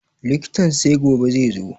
Likitan sai gobe zaizo